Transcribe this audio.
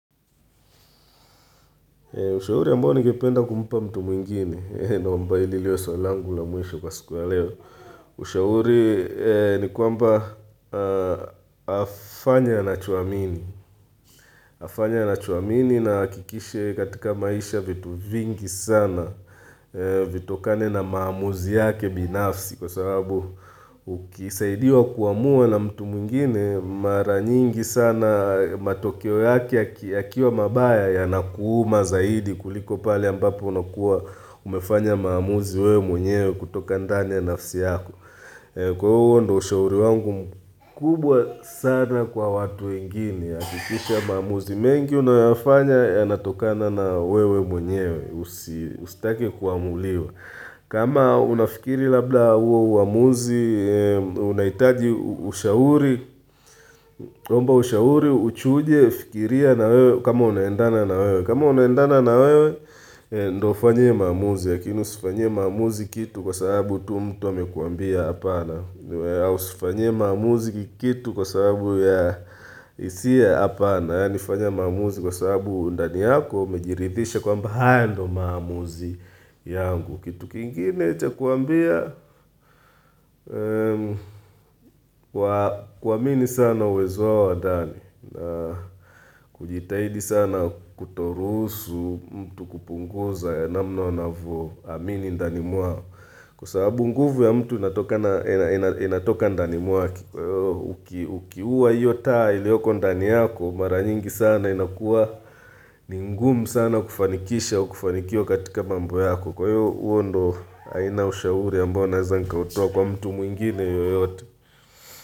Ushauri ambao ningependa kumpa mtu mwingine, naomba hili liwe swali langu la mwisho kwa siku ya leo. Ushauri ni kwamba afanye anachoamini. Afanye anachoamini na ahakikishe katika maisha vitu vingi sana, vitokane na maamuzi yake binafsi. Kwa sababu ukisaidiwa kuamua na mtu mwingine mara nyingi sana matokeo yake yakiwa mabaya yanakuuma zaidi kuliko pale ambapo unakuwa umefanya maamuzi wewe mwenyewe kutoka ndani ya nafsi yako Kwa huo ndio ushauri wangu kubwa sana kwa watu wengine hakikisha maamuzi mengi unayoyafanya yanatokana na wewe mwenyewe Usitake kuamuliwa kama unafikiri labda huo uamuzi unahitaji ushauri omba ushauri uchuje ufikirie na wewe kama unaendana na wewe, kama unaendana na wewe, ndo ufanyie maamuzi lakini usifanyie maamuzi kitu kwa sababu tu mtu amekuambia hapana na usifanyie kitu maamuzi kitu kwa sababu ya hisia hapana yaani fanya maamuzi kwa sababu ndani yako umejiridhisha kwamba haya ndio maamuzi yangu kitu kingine cha kuwaambia kuamini sana uwezo wao wa ndani kujitahidi sana kutoruhusu mtu kupunguza ya namna wanavyo amini ndani mwao Kwa sababu nguvu ya mtu inatoka ndani mwake kwa hivyo Ukiua hiyo taa iliyoko ndani yako Mara nyingi sana inakuwa ni ngumu sana kufanikisha au kufanikiwa katika mambo yako Kwa hiyo huo ndo aina ya ushauri ambayo naweza nikautoa kwa mtu mwingine yoyote.